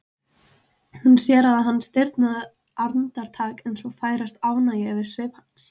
Hún sér að hann stirðnar andartak en svo færist ánægja yfir svip hans.